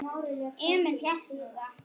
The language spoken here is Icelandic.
Emil hélt nú það.